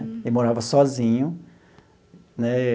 Ele morava sozinho, né?